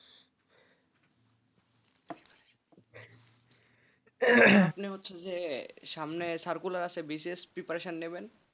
আপনি হচ্ছেন যে সামনে আছে বিশেষ preparation নেবেন,